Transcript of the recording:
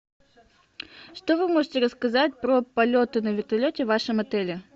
что вы можете рассказать про полеты на вертолете в вашем отеле